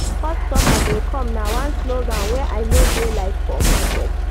Customer dey come na one slogan wey I no dey like for market.